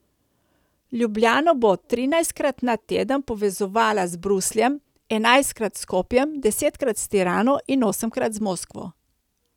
Ljubljano bo trinajstkrat na teden povezovala z Brusljem, enajstkrat s Skopjem, desetkrat s Tirano in osemkrat z Moskvo.